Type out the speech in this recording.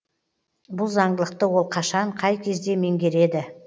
бұл заңдылықты ол қашан қай кезде меңгереді